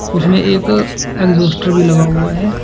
उसमें एक एक्जास्टर भी लगा हुआ है।